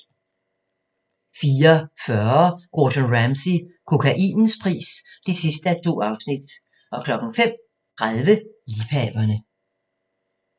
04:40: Gordon Ramsay - kokainens pris (2:2) 05:30: Liebhaverne